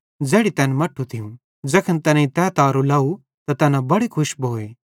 ज़ैखन तैनेईं तै तारो लाव त तैना बड़े खुश भोए